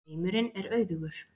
Heimurinn er auðugur.